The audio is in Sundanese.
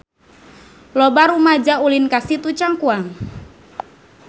Loba rumaja ulin ka Situ Cangkuang